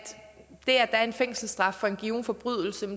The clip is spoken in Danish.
der er en fængselsstraf for en given forbrydelse